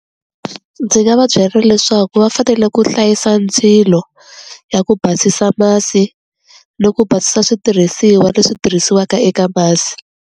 Ndzi nga va byela leswaku va fanele ku hlayisa ndzilo ya ku basisa masi ni ku basisa switirhisiwa leswi tirhisiwaka eka masi.